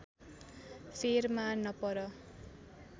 फेरमा नपर